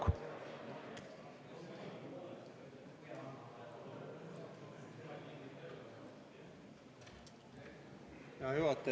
Hea juhataja!